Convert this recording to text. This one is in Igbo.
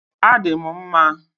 Adị m mma